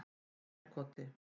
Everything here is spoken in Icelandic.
Eyjarkoti